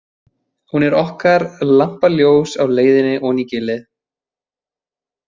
Hún er okkar lampaljós á leiðinni oní gilið.